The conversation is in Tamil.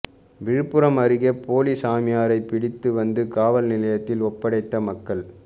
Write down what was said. விழுப்பும் அருகே போலி சாமியாரைப் பிடித்து வந்து காவல் நிலையத்தில் ஒப்படைத்த மக்கள்